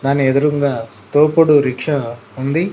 దాని ఎదురుంగా తోపుడు రిక్షా ఉంది.